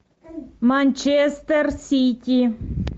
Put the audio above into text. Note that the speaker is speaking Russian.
манчестер сити